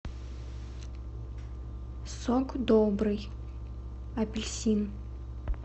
сок добрый апельсин